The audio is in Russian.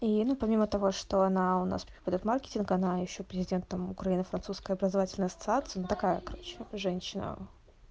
и ну помимо того что она у нас преподаёт маркетинг она ещё президентом украино-французская образовательная ассоциации ну такая короче женщина